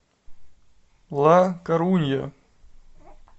ла корунья